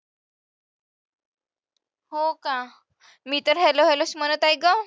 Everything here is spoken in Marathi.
हो का, मी तर hello hello च म्हणत आहे गं.